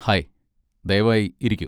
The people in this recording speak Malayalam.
ഹായ്, ദയവായി ഇരിക്കൂ.